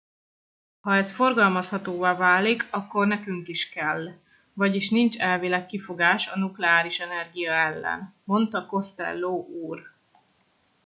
ha ez forgalmazhatóvá válik akkor nekünk is kell vagyis nincs elvileg kifogás a nukleáris energia ellen - mondta costello úr